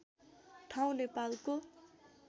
ठाउँ नेपालको